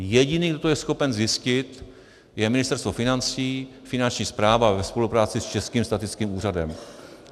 Jediný, kdo to je schopen zjistit, je Ministerstvo financí, Finanční správa ve spolupráci s Českým statistickým úřadem.